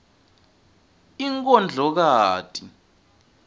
inkondlokati